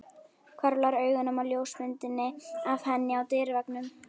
Hvarflar augunum að ljósmyndinni af henni á dyraveggnum.